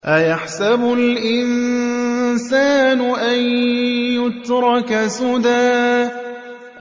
أَيَحْسَبُ الْإِنسَانُ أَن يُتْرَكَ سُدًى